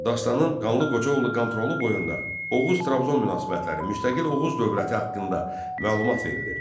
Dastanın Qanlı Qoca oğlu Qanturalı boyunda Oğuz-Trabzon münasibətləri, müstəqil Oğuz dövləti haqqında məlumat verilir.